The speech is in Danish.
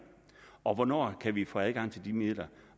og hvornår kan vi få adgang til de midler